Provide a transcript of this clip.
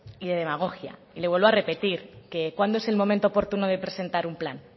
y de demagogia y le vuelvo a repetir que cuándo es el momento oportuno de presentar un plan